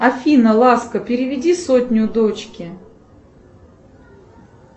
афина ласка переведи сотню дочке